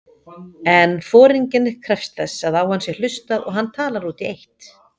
En foringinn krefst þess að á hann sé hlustað og hann talar út í eitt.